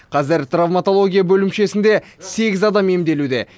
қазір травмотология бөлімшесінде сегіз адам емделуде